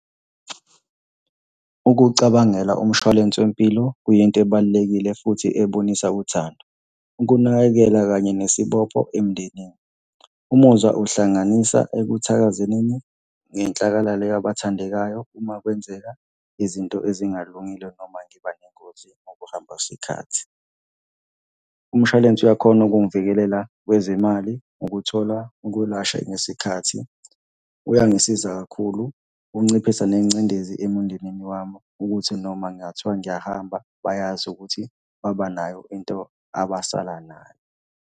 Ukucabangela umshwalense wempilo kuyinto ebalulekile futhi ebonisa uthando. Ukunakekela kanye nesibopho emndenini, umuzwa uhlanganisa ekuthakazeleni ngenhlakalala yabathandekayo uma kwenzeka izinto ezingalungile noma ngiba nengozi ngokuhamba kwesikhathi. Umshwalense uyakhona ukungivikelela kwezemali, ukuthola ukwelashwa ngesikhathi. Uyangisiza kakhulu, unciphisa nengcindezi emundenini wami ukuthi noma kungathiwa ngiyahamba bayazi ukuthi babanayo into abasala nayo.